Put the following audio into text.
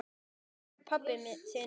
Og hvar er pabbi þinn?